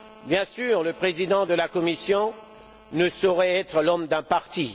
Bien sûr, le président de la Commission ne saurait être l'homme d'un parti.